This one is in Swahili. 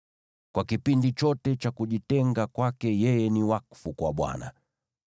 Kwa kipindi chote cha kujitenga kwake yeye ni wakfu kwa Bwana .